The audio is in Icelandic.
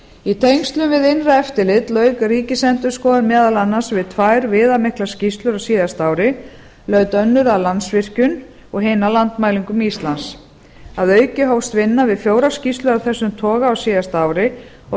í tengslum við innra eftirlit lauk ríkisendurskoðun meðal annars við tvær viðamiklar skýrslur á síðasta ári laut önnur að landsvirkjun og hin að landmælingum íslands að auki hófst vinna við fjórar skýrslur af þessum toga á síðasta ári og